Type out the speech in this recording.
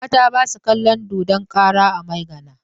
Mata ba su kalon dodon kara a Maigana.